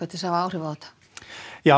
til að hafa áhrif á þetta já